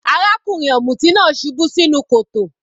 Arákùnrin ọ̀mùtí náà subú sínú kòtò.